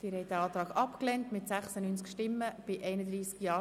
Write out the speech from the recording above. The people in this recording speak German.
Der Rat hat den Antrag SP-JUSO-PSA abgelehnt.